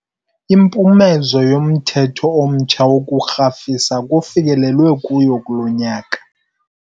Impumezo yomthetho omtsha wokurhafisa kufikelelwe kuyo kulo nyaka.